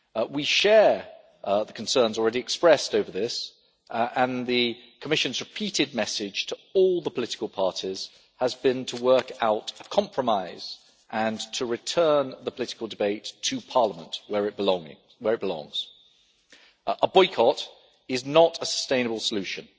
We share the concerns already expressed over this, and the Commission's repeated message to all the political parties has been to work out a compromise and to return the political debate to parliament, where it belongs. A boycott is not a sustainable solution,